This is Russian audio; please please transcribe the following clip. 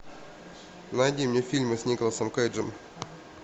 найди мне фильмы с николасом кейджем